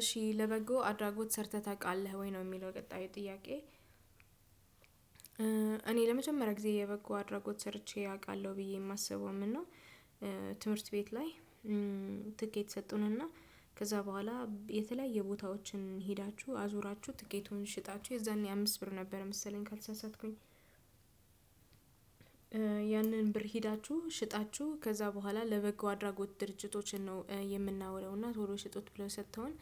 እሺ ለበጎ አድራጎት ሰርተህ ታውቃለህ ወይ ነው የሚለው ቀጣዩ ጥያቄ? እኔ ለመጀመሪያ ጊዜ የበጎ አድራጎት ሰርቼ አውቃለሁ ብዬ የማስበውም እና ትምህርት ቤት ላይ ትኬት ሰጡንና ከዛ በኋላ የተለያየ ቦታዎችን ሄዳችሁ አዙራችሁ ትኬቱን ሽጣችሁ የዛኔ አምስት ብር ነበር መሰለኝ ካልሳሳትኩኝ። ያንን ብር ሂዳችሁ ሽጣችሁ ከዛ በኋላ ለበጎ አድራጎት ድርጅቶችን ነው የምናውለው እና ቶሎ ሽጡት ብለው ሰጥተውን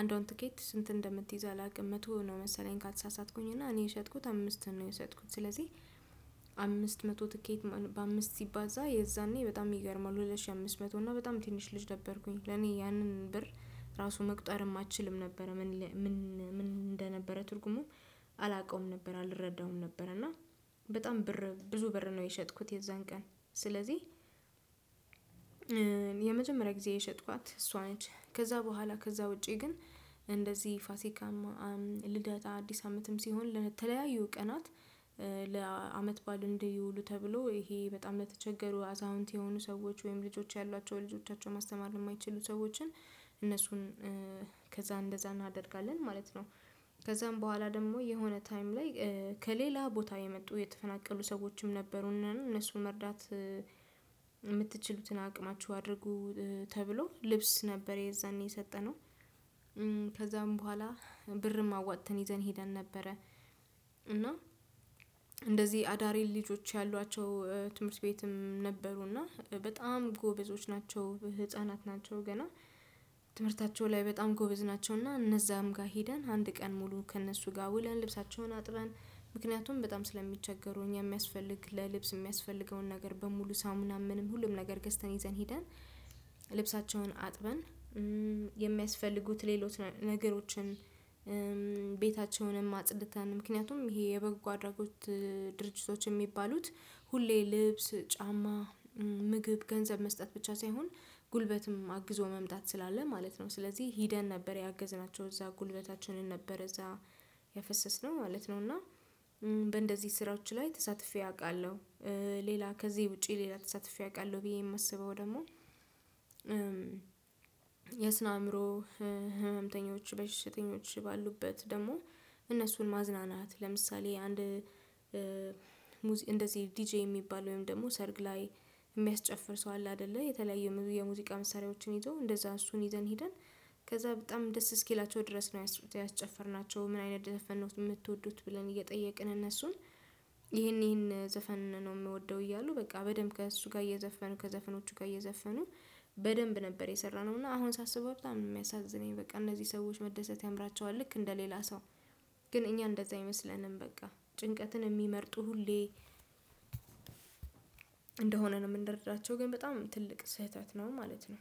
አንዷን ትኬት ስንት እንደምትይዝ አላውቅም መቶ ነው መሰለኝ ካልተሳሳትኩኝ። እና እኔ የሸጥኩት አምስትን ነው የሸጥኩት ስለዚህ አምስት መቶ ትኬት በአምስት ሲባዛ የዛኔ በጣም ይገርማል ሁለት ሺህ አምስት መቶ እና በጣም ትንሽ ልጅ ነበርኩኝ ለኔ ያንን ብር ራሱ መቁጠር አችልም ነበረ ምን ምን እንደነበረ ትርጉሙም አላውቀውም ነበር አልረዳውም ነበር። እና በጣም ብር ብዙ ብር ነው የሸጥኩት የዛን ቀን ስለዚህ። ጊዜ የሸጥኳት እሷ ነች ከዛ በኋላ ከዛ ውጪ ግን እንደዚህ ፋሲካም ልደት አዲስ አመትም ሲሆን ለተለያዩ ቀናት ለአመት ባል እንዲ ይውሉ ተብሎ ይሄ በጣም ለተቸገሩ አዛውንት የሆኑ ሰዎች ወይም ልጆች ያሏቸው ልጆቻቸው ማስተማር ለማይችሉ ሰዎችን እነሱን ከዛ እንደዛ እናደርጋለን ማለት ነው። ከዛም በኋላ ደግሞ የሆነ ታይም ላይ ከሌላ ቦታ የመጡ የተፈናቀሉ ሰዎችም ነበሩና እነሱን መርዳት አቅማችሁ አድርጉ ተብሎ ልብስ ነበር የዛኔ የሰጠነው ከዛም በኋላ ብርም አዋጥተን ይዘን ሄደን ነበረ። እና እንደዚህ አዳሬ ልጆች ያሏቸው ትምህርት ቤትም ነበሩና በጣም ጎበዞች ናቸው ህፃናት ናቸው ገና ትምህርታቸው ላይ በጣም ጎበዝ ናቸውና። እነዛም ጋር ሄደን አንድ ቀን ሙሉ ከእነሱ ጋር ውለን ልብሳቸውን አጥበን ምክንያቱም በጣም ስለሚቸገሩ እኛ የሚያስፈልግ ለልብስ የሚያስፈልገውን ነገር በሙሉ ሳሙናም ምንም ሁሉም ነገር ገዝተን ይዘን ሄደን። ልብሳቸውን አጥበን የሚያስፈልጉት ሌሎች ነገሮችን ቤታቸውንም አጽድተን ምክንያቱም ይሄ የበጎ አድራጎት ድርጅቶች የሚባሉት ሁሌ ልብስ ጫማ ምግብ ገንዘብ መስጠት ብቻ ሳይሆን ጉልበትም አግዞ መምጣት ስላለ ማለት ነው። ስለዚህ ሂደን ነበር ያገዝናቸው እዛ ጉልበታችንን ነበር እዛ የፈሰስነው ማለት ነው እና በእንደዚህ ስራዎች ላይ ተሳትፌ አውቃለሁ። ሌላ ከዚህ ውጪ ሌላ ተሳትፌ አውቃለሁ ብዬ የማስበው ደግሞ። የስነ አእምሮ ህመምተኞች በሽተኞች ባሉበት ደግሞ እነሱን ማዝናናት ለምሳሌ አንድ እንደዚህ ዲጄ የሚባል ወይም ደግሞ ሰርግ ላይ የሚያስጨፍር ሰው አለ አይደለ የተለያዩ የሙዚቃ ምሳሌዎችን ይዘው እንደዛ እሱን ይዘን ሄደን። ከዛ በጣም ደስ እስኪላቸው ድረስ ነው ያስጨፈርናቸው ምን አይነት ዘፈንነው የምትወዱት ብለን እየጠየቅን እነሱን ይሄን ይሄን ዘፈን ነው የምወደው እያሉ በቃ በደንብ ከእሱ ጋር እየዘፈኑ ከዘፈኖቹ ጋር እየዘፈኑ በደንብ ነበር የሰራነው። እና አሁን ሳስበው በጣም ነው የሚያሳዝነኝ በቃ እነዚህ ሰዎች መደሰት ያምራቸዋል ልክ እንደ ሌላ ሰው ግን እኛ እንደዛ አይመስለንም በቃ ጭንቀትን የሚመርጡ ሁሌ እንደሆነ ነው ምንረዳቸው ግን በጣም ትልቅ ስህተት ነው። ማለት ነው።